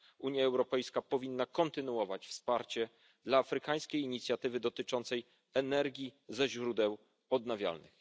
Unia Europejska powinna kontynuować wsparcie dla afrykańskiej inicjatywy dotyczącej energii ze źródeł odnawialnych.